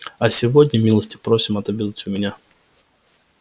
а сегодня милости просим отобедать у меня